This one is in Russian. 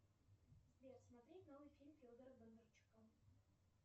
сбер смотреть новый фильм федора бондарчука